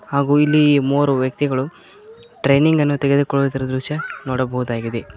ಹಾಗೂ ಇಲ್ಲಿ ಮೂವರು ವ್ಯಕ್ತಿಗಳು ಟ್ರೈನಿಂಗನ್ನು ತೆಗೆದುಕೊಳ್ಳುತ್ತಿರುವ ದೃಶ್ಯ ನೋಡಬಹುದಾಗಿದೆ.